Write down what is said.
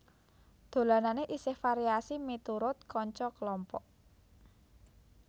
Dolanane isih variasi miturut kanca kelompok